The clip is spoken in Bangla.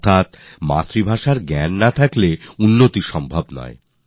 অর্থাৎ মাতৃভাষার জ্ঞান ছাড়া উন্নতি সম্ভব নয়